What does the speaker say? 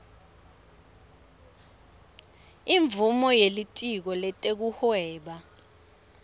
imvumo yelitiko letekuhweba